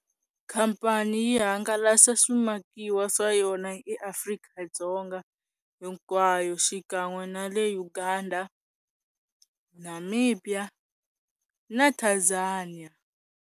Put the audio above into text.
Khampani yi hangalasa swimakiwa swa yona eAfrika-Dzonga hinkwayo xikan'we na le Uganda, Namibia na Tanzania.